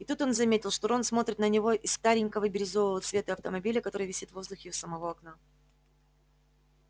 и тут он заметил что рон смотрит на него из старенького бирюзового цвета автомобиля который висит в воздухе у самого окна